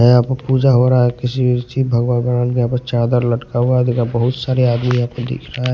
यहां पर पूजा हो रहा है किसी भगवान भगवान यहां पर चादर लटका हुआ है देख बहुत सारे आदमी यहां पर दिख रहे हैं ।